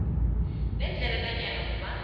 nendlela nanyana ngubani